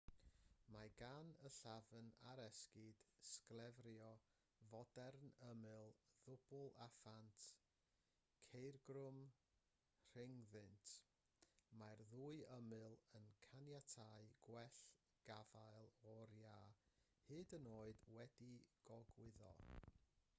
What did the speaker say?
mae gan y llafn ar esgid sglefrio fodern ymyl ddwbl a phant ceugrwm rhyngddynt mae'r ddwy ymyl yn caniatáu gwell gafael o'r iâ hyd yn oed wedi'u gogwyddo